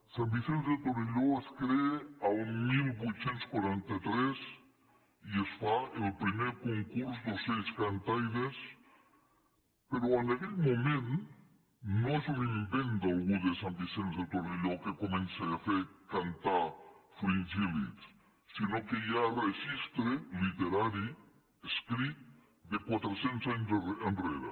sant vicenç de torelló es crea el divuit quaranta tres i es fa el primer concurs d’ocells cantaires però en aquell moment no és un invent d’algú de sant vicenç de torelló que comença a fer cantar fringíl·lids sinó que hi ha registre literari escrit de quatre cents anys enrere